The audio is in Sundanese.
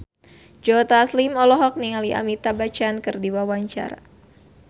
Joe Taslim olohok ningali Amitabh Bachchan keur diwawancara